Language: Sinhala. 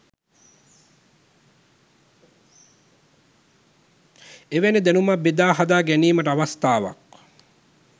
එවැනි දැනුම බෙදා හදා ගැනීමට අවස්ථාවක්